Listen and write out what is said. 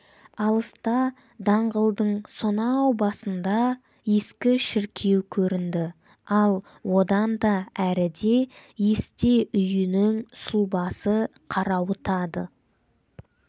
алыста даңғылдың сонау басында ескі шіркеу көрінді ал одан да әріде есте үйінің сұлбасы қарауытады